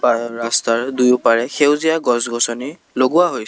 আৰু ৰাস্তাৰ দুয়োপাৰে সেউজীয়া গছ গছনি লগোৱা হৈছে।